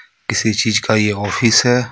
किसी चीज का ये ऑफिस है.